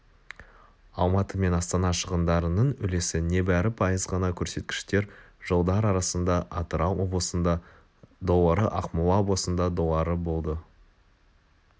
алматы мен астана шығындарының үлесі небәрі пайыз ғана көрсеткіштер жылдар арасында атырау облысында доллары ақмола облысында доллары болды